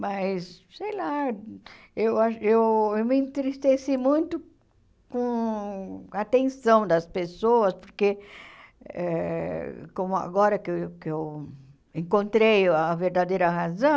Mas, sei lá, eu a eu eu me entristeci muito com a atenção das pessoas, porque eh como agora que eu que eu encontrei a verdadeira razão,